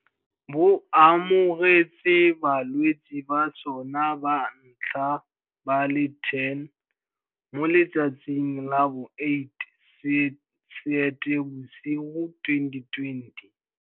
Bo amogetse balwetse ba sona ba ntlha ba le 10 mo letsatsing la bo 8 Seetebosigo 2020.